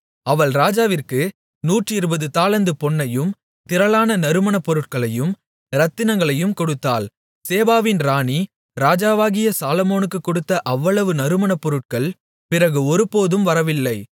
அவள் ராஜாவிற்கு நூற்றிருபது தாலந்து பொன்னையும் திரளான நறுமணப்பொருட்களையும் இரத்தினங்களையும் கொடுத்தாள் சேபாவின் ராணி ராஜாவாகிய சாலொமோனுக்குக் கொடுத்த அவ்வளவு நறுமணப்பொருட்கள் பிறகு ஒருபோதும் வரவில்லை